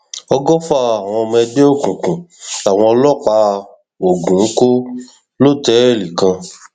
ọgọfà àwọn ọmọ ẹgbẹ òkùnkùn làwọn ọlọpàá ogun kò lọtẹẹlì kan